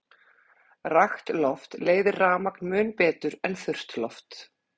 Rakt loft leiðir rafmagn mun betur en þurrt loft.